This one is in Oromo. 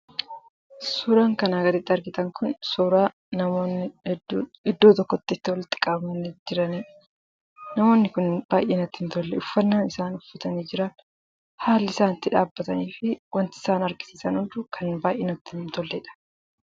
Suuraan kanaa gaditti argitan kun, suuraa namoonni hedduun iddoo tokkotti itti walitti qabamanii jiranidha. Namoonni kunniin baayyee natti hin tolle. Uffannaan isaan uffatan, haalli isaan itti dhaabbatanii jiraniifi wanti isaan godhan hunduu kan natti hin tolledha.